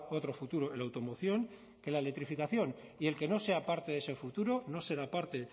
otro futuro en la automoción que la electrificación y el que no sea parte de ese futuro no será parte